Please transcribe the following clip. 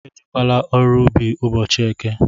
Ejekwala ọrụ ubi ụbọchị eke!